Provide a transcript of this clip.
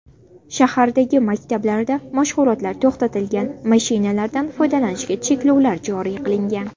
Shahardagi maktablarda mashg‘ulotlar to‘xtatilgan, mashinalardan foydalanishga cheklovlar joriy qilingan.